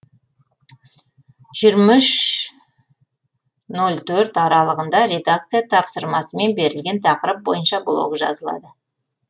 жиырма үш нөл төрт аралығында редакция тапсырмасымен берілген тақырып бойынша блог жазылады